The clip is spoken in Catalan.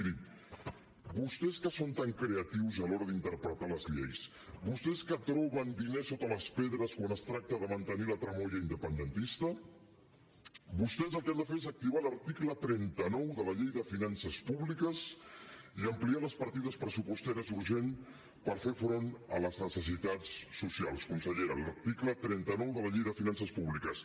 mirin vostès que són tan creatius a l’hora d’interpretar les lleis vostès que troben diners sota les pedres quan es tracta de mantenir la tramoia independentista vostès el que han de fer és activar l’article trenta nou de la llei de finances públiques i ampliar les partides pressupostàries urgents per fer front a les necessitats socials consellera l’article trenta nou de la llei de finances públiques